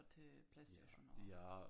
Til Playstation og